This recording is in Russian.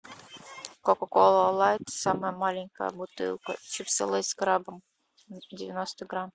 кока кола лайт самая маленькая бутылка чипсы лейс с крабом девяносто грамм